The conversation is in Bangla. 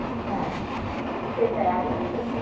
হেঁ, আমিও তো সেটাই,